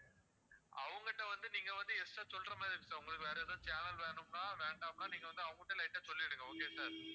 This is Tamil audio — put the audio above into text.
அவங்க கிட்ட வந்து நீங்க வந்து extra சொல்ற மாதிரி இருக்கும் sir உங்களுக்கு வேற எதாவது channel வேணும்னா வேண்டாம்னா நீங்க வந்து அவங்க கிட்ட light ஆ சொல்லிடுங்க okay sir